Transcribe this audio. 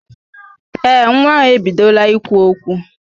Ee, nwa ahụ ebidola ikwu okwu